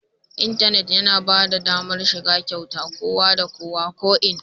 Intanit yana ba da damar shiga kyauta ga kowa da kowa, ko'ina